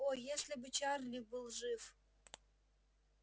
о если бы чарли был жив